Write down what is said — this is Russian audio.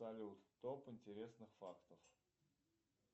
салют топ интересных фактов